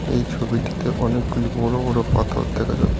এই ছবিটিতে অনেকগুলি বড়ো বড়ো পাথর দেখা যা --